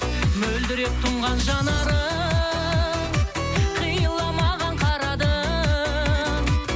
мөлдіреп тұнған жанарың қиыла маған қарады